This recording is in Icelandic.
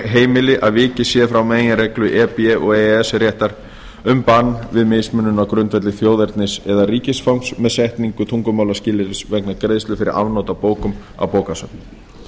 heimili að vikið sé frá meginreglu e b og e e s réttar um bann við mismunun á grundvelli þjóðernis eða ríkisfangs með setningu tungumálaskilyrðis vegna greiðslu fyrir afnot af bókum á bókasöfnum